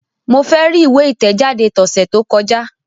Mo fẹ ri iwe itẹjade tọsẹ to kọja!